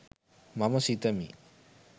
මම සිතමි.